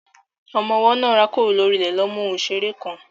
Ọmọ ọwọ́ náà rákòrò lórí ilẹ̀ lọ mú ohun ìṣeré kan.